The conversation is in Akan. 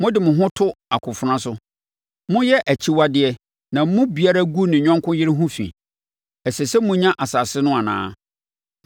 Mode mo ho to mo akofena so. Moyɛ akyiwadeɛ na mo mu biara gu ne yɔnko yere ho fi. Ɛsɛ sɛ monya asase no anaa?’